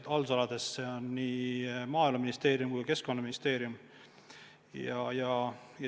Need on nii Maaeluministeerium kui Keskkonnaministeerium.